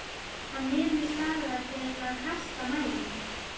Hann nemur staðar til að kasta mæðinni.